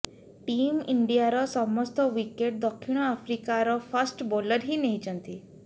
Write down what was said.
team ଇଣ୍ଡିଆର ସମସ୍ତ wicket ଦକ୍ଷିଣ ଆଫ୍ରିକାର ଫାଷ୍ଟ ବୋଲର ହିଁ ନେଇଛନ୍ତି